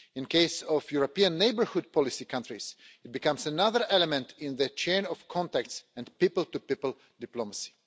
In the case of European Neighbourhood Policy countries, it becomes another element in the chain of contacts and people-to-people diplomacy.